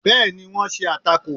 bẹẹni wọn ṣe atákò